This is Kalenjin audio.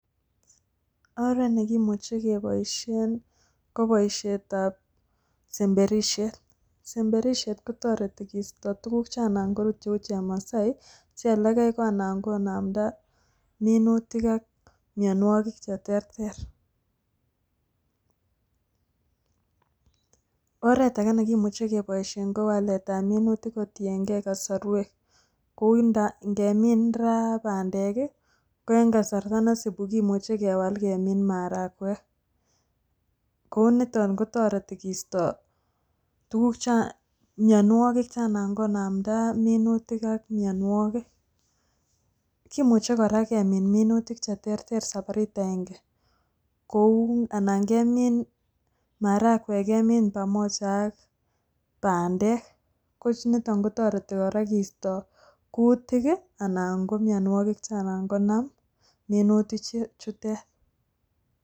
Oret nekimuche keboisien ko boisietab semberisiet. Semberisiet kotoreti kisto tuguk che anan korut cheu chemasai, che olekai ko anan konamda minutik ak mionwogik cheterter. Oret age nekimuche keboisien ko wallet ab minutik kotieng'e kosorwek. Kou ing'emin ra bandek ko en kasarta nesupi kimuche kewal kemin marakwek. Ko niton koto kisto mionwogik che anan konamda minutik ak mionwogik. Kimuche kora kemin minutik cheterter sabarit aende, kou anan kemin marakwek pamoja ak bandek ko nito kotoreti kora kisto kutik anan ko mionwogik che anan konam minutichutet.